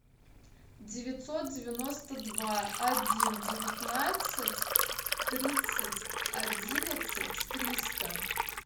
девятьсот девяносто два один девятнадцать тридцать одиннадцать триста